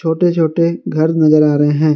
छोटे छोटे घर नजर आ रहे है।